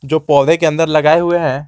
जो पौधे के अंदर लगाए हुए हैं।